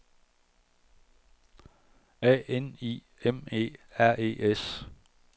A N I M E R E S